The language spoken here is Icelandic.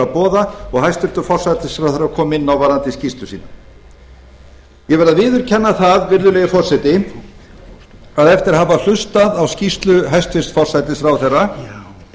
boða og hæstvirtur forsætisráðherra kom inn á varðandi skýrslu sína ég verð að viðurkenna það virðulegi forseti að eftir að hafa hlustað á skýrslu hæstvirts forsætisráðherra